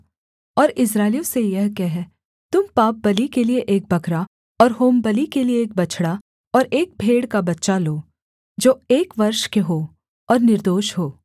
और इस्राएलियों से यह कह तुम पापबलि के लिये एक बकरा और होमबलि के लिये एक बछड़ा और एक भेड़ का बच्चा लो जो एक वर्ष के हों और निर्दोष हों